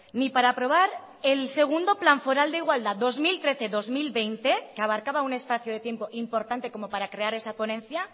ni para aprobar el segundo plan foral de igualdad dos mil trece dos mil veinte que abarcaba un espacio de tiempo importante como para crear esa ponencia